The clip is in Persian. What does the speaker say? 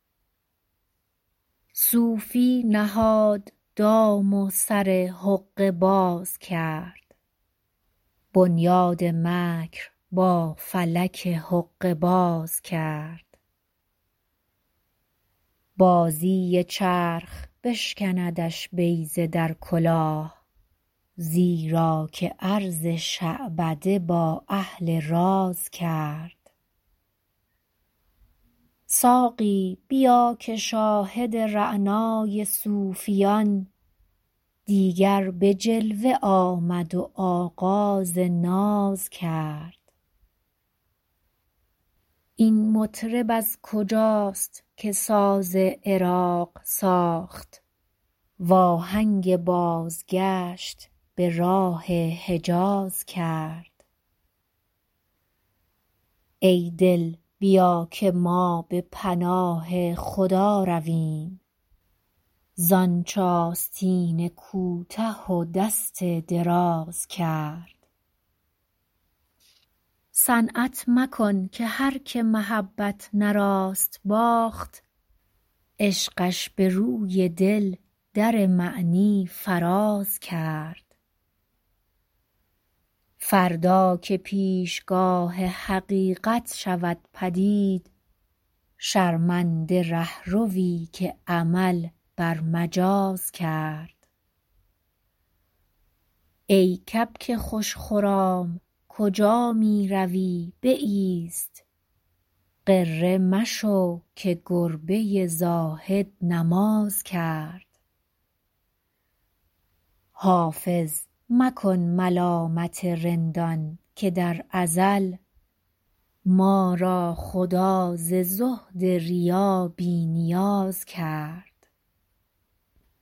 صوفی نهاد دام و سر حقه باز کرد بنیاد مکر با فلک حقه باز کرد بازی چرخ بشکندش بیضه در کلاه زیرا که عرض شعبده با اهل راز کرد ساقی بیا که شاهد رعنای صوفیان دیگر به جلوه آمد و آغاز ناز کرد این مطرب از کجاست که ساز عراق ساخت وآهنگ بازگشت به راه حجاز کرد ای دل بیا که ما به پناه خدا رویم زآنچ آستین کوته و دست دراز کرد صنعت مکن که هرکه محبت نه راست باخت عشقش به روی دل در معنی فراز کرد فردا که پیشگاه حقیقت شود پدید شرمنده رهروی که عمل بر مجاز کرد ای کبک خوش خرام کجا می روی بایست غره مشو که گربه زاهد نماز کرد حافظ مکن ملامت رندان که در ازل ما را خدا ز زهد ریا بی نیاز کرد